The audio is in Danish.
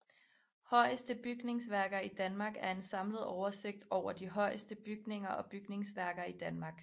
Højeste bygningsværker i Danmark er en samlet oversigt over de højeste bygninger og bygningsværker i Danmark